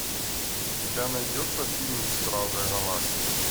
у тебя найдется фильм стражи галактики